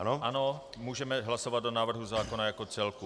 Ano, můžeme hlasovat o návrhu zákona jako celku.